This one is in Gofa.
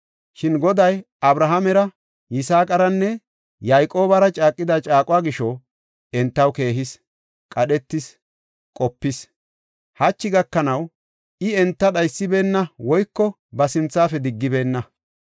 Shin Goday Abrahaamera, Yisaaqaranne Yayqoobara caaqida caaquwa gisho, entaw keehis, qadhetis, qopis. Hachi gakanaw I enta dhaysibeenna woyko ba sinthafe diggibeenna.